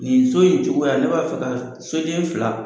Nin so in cogoya ne b'a fɛ ka soden fila